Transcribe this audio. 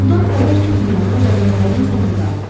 Puldandan xəbər çıxmayanda zərgərlərin səbri daraldı.